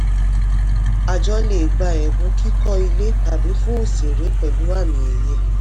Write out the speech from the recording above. àjọ lè gba ẹ̀bùn kíkọ́ ilé tàbí fún òṣèré pẹ̀lú àmì-ẹ̀yẹ.